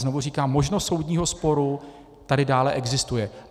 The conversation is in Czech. Znovu říkám, možnost soudního sporu tady dále existuje.